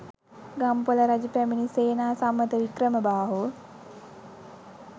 ගම්පොළ රජ පැමිණි සේනාසම්මත වික්‍රමබාහු